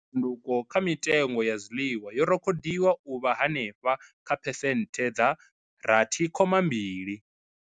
Tshanduko kha mitengo ya zwiḽiwa yo rekhodiwa u vha henefha kha phesenthe dza rathi khoma mbili.